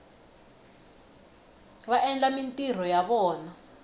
va endla mintirho ya vona